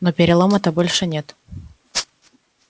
но перелома-то больше нет